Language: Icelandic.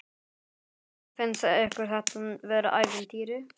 Kristján: Finnst ykkur þetta vera ævintýri?